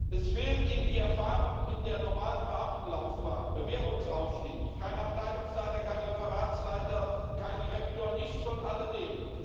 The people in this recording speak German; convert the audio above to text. Es fehlt ihm die Erfahrung in der normalen Beamtenlaufbahn, der Bewährungsaufstieg kein Abteilungsleiter, kein Referatsleiter, kein Direktor nichts von alledem.